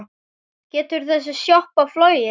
Getur þessi sjoppa flogið?